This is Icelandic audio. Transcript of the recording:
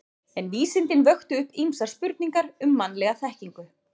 En vísindin vöktu upp ýmsar spurningar um mannlega þekkingu.